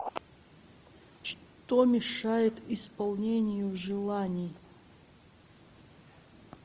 что мешает исполнению желаний